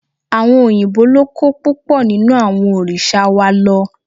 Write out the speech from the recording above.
Àwọn òyìnbó ló kó púpọ̀ nínú àwọn òrìṣà wa lọ